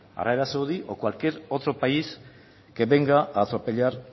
arabia saudí o cualquier otro país que venga a atropellar